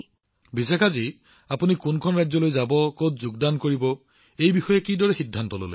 প্ৰধানমন্ত্ৰীঃ ঠিক আছে বিশাখা জী আপুনি কেনেকৈ সিদ্ধান্ত ললে যে আপুনি ৰাজ্যখনলৈ যাব আৰু ইয়াৰ সৈতে সম্পৰ্ক স্থাপন কৰিব